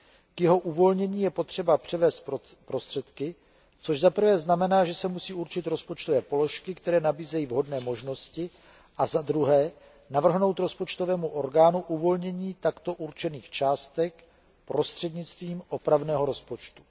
K jeho uvolnění je potřeba převést prostředky, což za prvé znamená, že se musí určit rozpočtové položky, které nabízejí vhodné možnosti, a za druhé navrhnout rozpočtovému orgánu uvolnění takto určených částek prostřednictvím opravného rozpočtu.